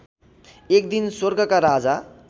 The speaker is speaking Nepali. एकदिन स्वर्गका राजा